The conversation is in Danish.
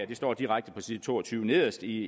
det står direkte på side to og tyve nederst i